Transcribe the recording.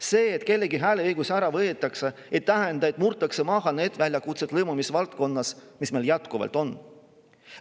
See, et kelleltki hääleõigus ära võetakse, ei tähenda, et murtakse maha need väljakutsed lõimumisvaldkonnas, mis meil jätkuvalt on.